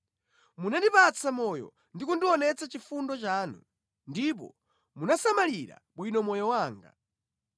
Munandipatsa moyo ndi kundionetsa chifundo chanu, ndipo munasamalira bwino moyo wanga.